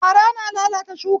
Fara na lalata shuka